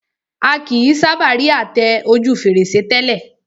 A kìí sábà rí àtẹ ojú fèrèsé tẹ́lẹ̀